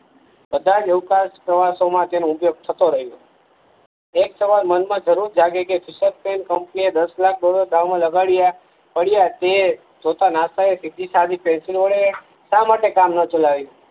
બધાજ અવકાસ પ્રવાસો માં તેનો ઉપયોગ થતો રહ્યો એક સવાલ મનમાં જુરુર જાગે કે કંપની દસ લાખ ડોલર આમાં લગાદીયા પડિયા તે જોતા નાસા એ સીધી સાદી પેન્સિલ વડે સા માટે કામ ન ચલાવીયું